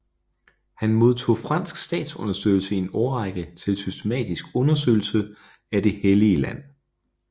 Han modtog fransk statsunderstøttelse i en årrække til systematisk undersøgelse af Det Helllige Land